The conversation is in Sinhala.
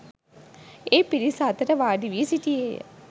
ඒ පිරිස අතර වාඩි වී සිටියේ ය.